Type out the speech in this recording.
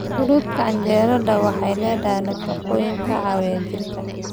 Fruita qajaarada waxay leedahay nafaqooyin ka caawiya jidhka.